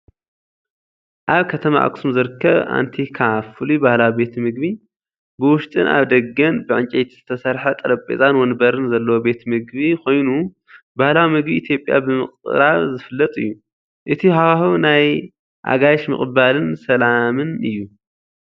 ኣብ ከተማ ኣኽሱም ዝርከብ፣ "ኣንቲካ ፍሉይ ባህላዊ ቤት ምግቢ።" " ብውሽጥን ኣብ ደገን ብዕንጨይቲ ዝተሰርሐ ጠረጴዛን መንበርን ዘለዎ ቤት መግቢ ኮይኑ፡ ባህላዊ ምግቢ ኢትዮጵያ ብምቕራብ ዝፍለጥ እዩ።" እቲ ሃዋህው ናይ ኣጋይሽ ምቕባልን ሰላምን እዩ፣